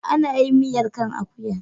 Ana yin miyar kan akuya.